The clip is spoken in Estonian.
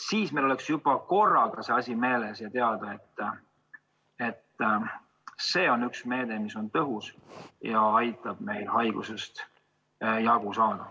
Meil tuleks seda asja meeles pidada ja teada, et see on üks meede, mis on tõhus ja aitab haigusest jagu saada.